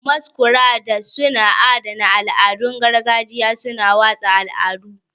Masquerades suna adana al'adun gargajiya, suna watsa al'adu.